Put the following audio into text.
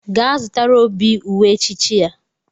Gaa zụtara Obi uwe echichi ya!